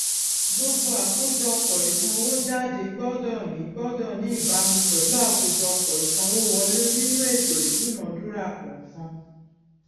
gbogbo àkójọpò ìsànwójáde gbódò ní gbódò ní ìbámu pèlú àkójọpò ìsanwówọlé nínú ètò ìdúnadúrà kọọkan